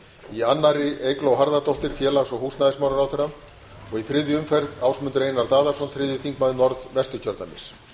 í annarri umferð eygló harðardóttir félags og húsnæðismálaráðherra og í þriðja umferð ásmundur einar daðason þriðji þingmaður norðausturkjördæmis